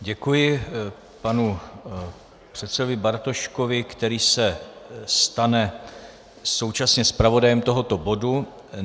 Děkuji panu předsedovi Bartoškovi, který se stane současně zpravodajem tohoto bodu.